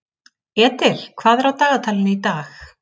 Edil, hvað er á dagatalinu í dag?